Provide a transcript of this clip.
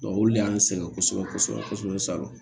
olu le y'an sɛgɛn kosɛbɛ kosɛbɛ